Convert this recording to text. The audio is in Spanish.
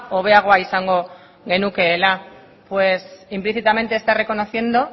hobeagoa izango genukeela pues implícitamente está reconociendo